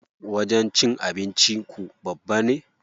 Wajen cin abinci ku babba ne?